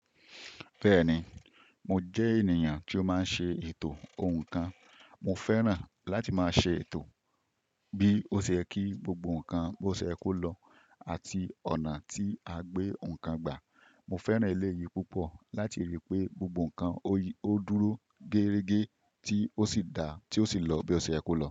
Bẹ́ẹ̀ni, mo jẹ́ ènìyàn tí ó máa ń ṣe ètò ohun kan. Mo fẹ́ràn láti máa ṣe ètò bí ó se ye kí gbogbo nǹkan bó ṣe yẹ ko lọ àti ọ̀nà tí a gbé ouǹ kan gbà. Mo fẹ́ràn eleyìí púpọ̀ láti rí i pé gbogbo nǹkan ó dúró géregé tí ó sì dá tí ó sì lọ bí ó ṣe yẹ ko lọ.